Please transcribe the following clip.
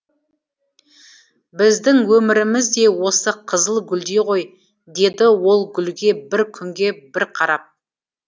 біздің өміріміз де осы қызыл гүлдей ғой деді ол гүлге бір күнге бір қарап